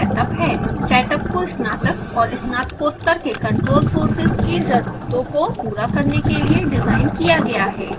setup को स्नातक और स्नातकोत्तर के control कोर्सेज़ की ज़रूरतों को पूरा करने के लिए डिज़ाइन किया गया है